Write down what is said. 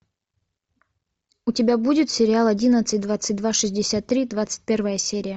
у тебя будет сериал одиннадцать двадцать два шестьдесят три двадцать первая серия